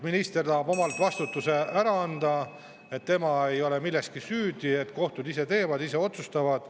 Minister tahab endalt vastutuse ära anda, et tema ei oleks milleski süüdi, sest kohtud ise teevad, ise otsustavad.